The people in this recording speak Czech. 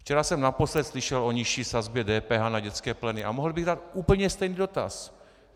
Včera jsem naposledy slyšel o nižší sazbě DPH na dětské pleny a mohl bych dát úplně stejný dotaz.